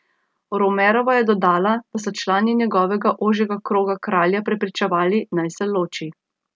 Romerova je dodala, da so člani njegovega ožjega kroga kralja prepričevali, naj se ne loči.